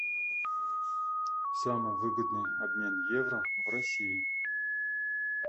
самый выгодный обмен евро в россии